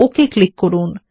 okay click করুন